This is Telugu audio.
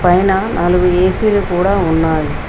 పైన నాలుగు ఏ_సీ లు కూడా ఉన్నాయి.